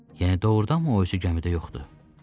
Yəni doğurdanmı o özü gəmidə yoxdur?